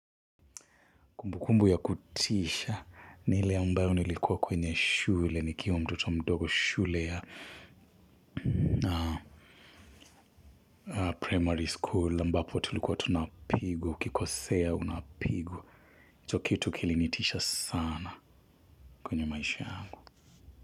Kumbu kumbu ya kutisha, ni ile ambayo nilikuwa kwenye shule, nikiwa mtoto mdogo. Shule ya primary school. Ambapo tulikuwa tunapigwa. Ukikosea unapigwa, hicho kitu kilinitisha sana. Kwenye maisha yangu.